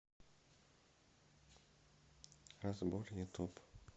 разбор ютуб